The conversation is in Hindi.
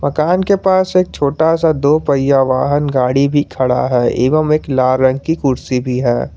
मकान के पास एक छोटा सा दो पहिया वाहन गाड़ी भी खड़ा है एवं एक लाल रंग की कुर्सी भी है।